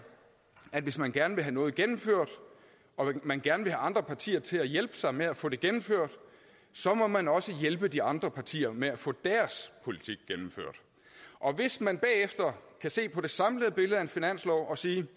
at hvis man gerne vil have noget gennemført og man gerne vil have andre partier til at hjælpe sig med at få det gennemført så må man også hjælpe de andre partier med at få deres politik gennemført og hvis man bagefter kan se på det samlede billede af en finanslov og sige